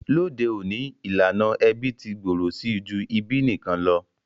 Lóde ọ̀ní, ìlànà ẹbí ti gbòrò si ju ìbí nikan lo.